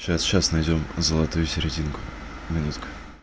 сейчас сейчас найдём золотую серединку минутку